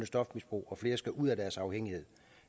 stofmisbrug og flere skal ud af deres afhængighed